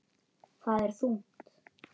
Það er þungt.